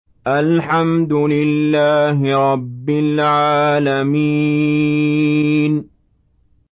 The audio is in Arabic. الْحَمْدُ لِلَّهِ رَبِّ الْعَالَمِينَ